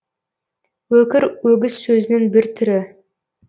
өкір өгіз сөзінің бір түрі